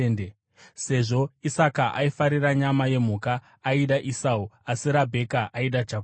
Sezvo Isaka aifarira nyama yemhuka, aida Esau, asi Rabheka aida Jakobho.